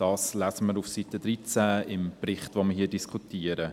» Das lesen wir auf Seite 13 des Berichts, über den wir hier diskutieren.